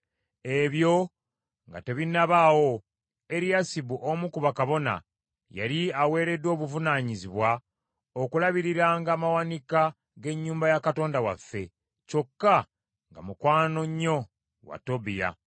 Ebyo nga tebinnabaawo, Eriyasibu omu ku bakabona, yali aweereddwa obuvunaanyizibwa okulabiriranga amawanika g’ennyumba ya Katonda waffe, kyokka nga mukwano nnyo wa Tobiya.